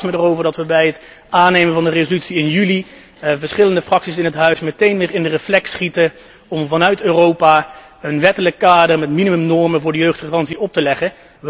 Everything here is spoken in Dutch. Ik verbaas mij erover dat bij het aannemen van de resolutie in juli jongstleden verschillende fracties in het huis meteen in de reflex schieten om vanuit Europa een wettelijk kader met minimumnormen voor de jeugdgarantie op te leggen.